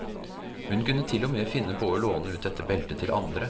Hun kunne til og med finne på å låne ut dette beltet til andre.